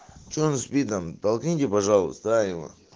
че у нас с видом толкните пожалуйста а ебать